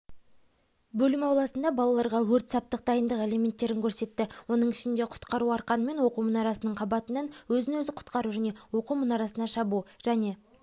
бөлім ауласында балаларға өрт-саптық дайындық элементтерін көрсетті оның ішінде құтқару арқанымен оқу мұнарасының қабатынан өзін-өзі құтқару және оқу мұнарасына шабу және